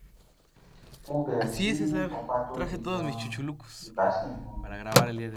mo bẹrẹ sí ní ìfúnpá tó le ganan ibà sì ń mú mi